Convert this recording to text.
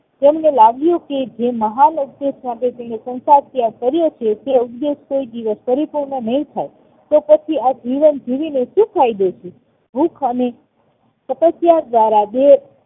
તેમને લાગ્યું કે જેમહાન ઉપદેશ માટે તેણે સંસાર ત્તયાગ કર્યો છે તે ઉપદેશ કોય દિવસ પરિપૂર્ણ નહિ થાય તો પછી આ જીવન જીવીને સુ ફાયદૉ છે ભૂખ અને તપસ્યા દ્વારા દેહ